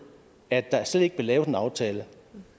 at der slet ikke blev lavet en aftale